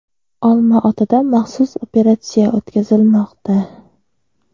Olmaotada maxsus operatsiya o‘tkazilmoqda.